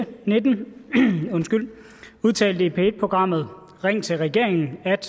og nitten udtalte i p1 programmet ring til regeringen at